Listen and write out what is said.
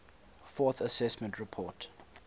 fourth assessment report